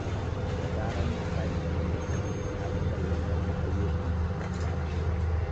Da zarar na tashi daga barci, na fi son lissafa ayyukan da suka fi dacewa.